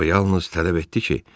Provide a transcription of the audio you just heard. O yalnız tələb etdi ki,